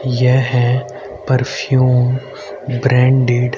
यह perfume branded --